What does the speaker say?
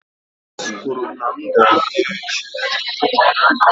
Nọọsụ kwuru na m ga-abịa echi.